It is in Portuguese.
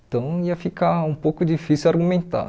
Então, ia ficar um pouco difícil argumentar.